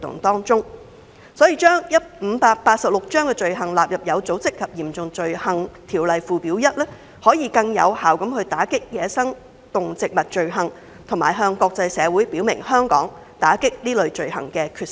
因此，將第586章的走私罪行納入《有組織及嚴重罪行條例》附表 1， 可更有效地打擊走私野生動植物罪行，並向國際社會表明香港打擊這類罪行的決心。